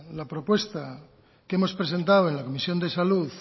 la propuesta que hemos presentado en la comisión de salud